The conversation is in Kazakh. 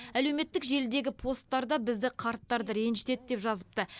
әлеуметтік желідегі посттарда бізді қарттарды ренжітеді деп жазыпты